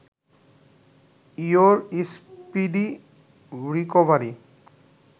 your speedy recovery